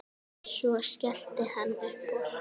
Svo skellti hann upp úr.